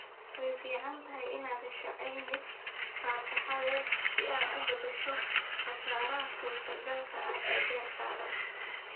Way fiicantahay inaad hesho caymis fatahaadeed si aad u daboosho khasaaraha suurtogalka ah ee beertaada